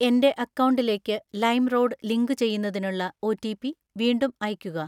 എൻ്റെ അക്കൗണ്ടിലേക്ക് ലൈംറോഡ് ലിങ്കുചെയ്യുന്നതിനുള്ള ഒറ്റിപി വീണ്ടും അയയ്ക്കുക.